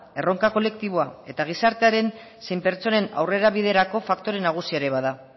erronka kolektiboa eta gizartearen zein pertsonen aurrerabiderako faktore nagusia ere bada